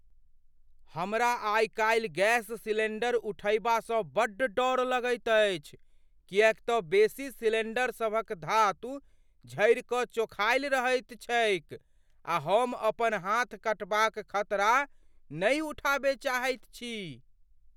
हमरा आइ काल्हि गैस सिलेंडर उठयबासँ बड्ड डर लगैत अछि किएकतँ बेसी सिलेंडर सभक धातु झरि कऽ चोखायल रहैत छैक आ हम अपन हाथ कटबाक खतरा नहि उठाबय चाहैत छी।